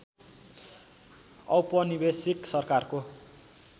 औपनिवेशिक सरकारको